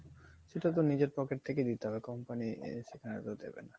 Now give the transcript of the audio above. সেটা তো নিজের pocket থেকেই দিতে হবে company সেটা দিবে না।